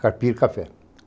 Carpir, café.